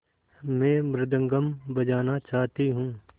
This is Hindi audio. मैं मृदंगम बजाना चाहती हूँ